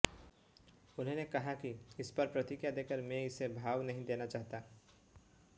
उन्होंने कहा कि इसपर प्रतिक्रिया देकर मैं इसे भाव नहीं देना चाहता